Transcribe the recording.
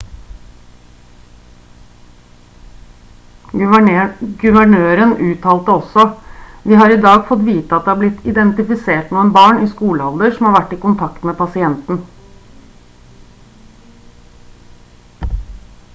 guvernøren uttalte også: «vi har i dag fått vite at det har blitt identifisert noen barn i skolealder som har vært i kontakt med pasienten»